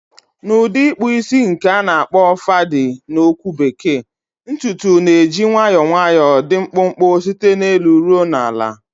Na udi ikpu isi nke na akpo fadi na okwu bekee, ntutu na-eji nwayọọ nwayọọ dị mkpụmkpụ site n'elu ruo na ala.